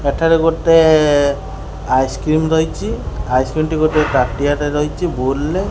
ଏଠାରେ ଗୋଟେ ଆଇସକ୍ରିମ ରହିଛି ଆଇସକ୍ରିମ ଟି ଗୋଟିଏ ତାଟିଆରେ ରହିଚି ବୋଲ ରେ --